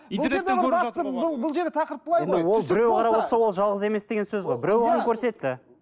біреу қарап отырса ол жалғыз емес деген сөз ғой біреу оған көрсетті